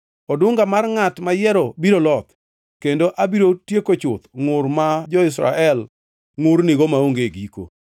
Odunga mar ngʼat mayiero biro loth, kendo abiro tieko chuth ngʼur ma jo-Israel ngʼurnigo maonge giko.”